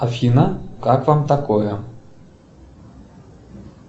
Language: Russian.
афина как вам такое